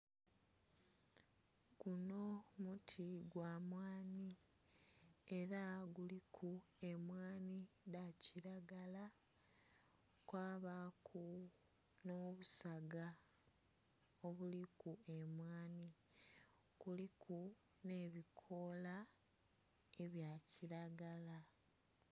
Guno muti gwa mmwani era guliku emwani dhakiragala kwabaku n'obusaga obuliku emwani, kuliku n'ebikoola ebyakiragala.